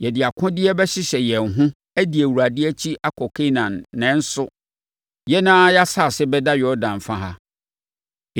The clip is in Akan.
yɛde akodeɛ bɛhyehyɛ yɛn ho adi Awurade akyi akɔ Kanaan nanso, yɛn ara yɛn asase bɛda Yordan fa ha.”